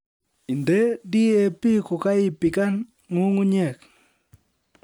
Inde DAP kokaibikan nyung'unyek